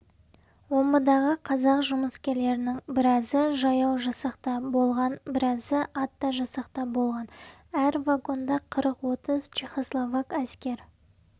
омбыдағы қазақ жұмыскерлерінің біразы жаяу жасақта болған біразы атты жасақта болған әр вагонда қырық-отыз чехословак әскер